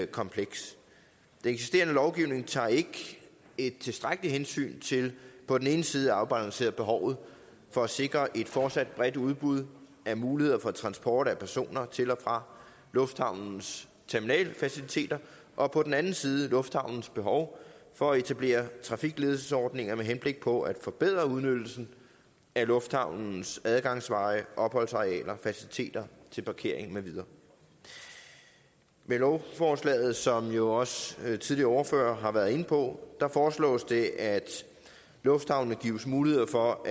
komplekst den eksisterende lovgivning tager ikke et tilstrækkeligt hensyn på den ene side til at afbalancere behovet for at sikre et fortsat bredt udbud af muligheder for transport af personer til og fra lufthavnens terminalfaciliteter og på den anden side lufthavnens behov for at etablere trafikledelsesordninger med henblik på at forbedre udnyttelsen af lufthavnens adgangsveje opholdsarealer faciliteter til parkering med videre med lovforslaget som jo også tidligere ordførere har været inde på foreslås det at lufthavnene gives mulighed for